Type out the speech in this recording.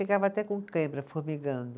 Ficava até com cãibra, formigando.